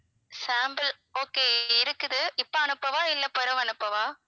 sample okay இருக்குது இப்போ அனுப்பவா இல்லை பிறகு அனுப்பவா?